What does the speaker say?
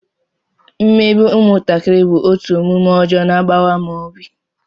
Mmegbu ụmụntakịrị bụ otu omume ọjọọ na-agbawa m obi